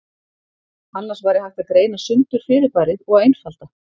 Annars væri hægt að greina sundur fyrirbærið og einfalda.